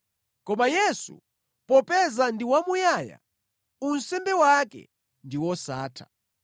Koma Yesu popeza ndi wamuyaya, unsembe wake ndi wosatha.